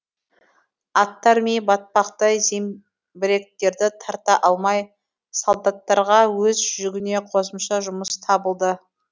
аттар ми батпақта зеңбіректерді тарта алмай солдаттарға өз жүгіне қосымша жұмыс табылды